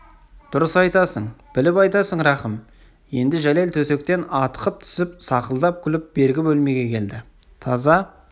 дұрыс айтасың біліп айтасың рахым енді жәлел төсектен атқып түсіп сақылдап күліп бергі бөлмеге келді таза